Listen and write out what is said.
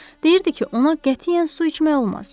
Deyirdi ki, ona qətiyyən su içmək olmaz.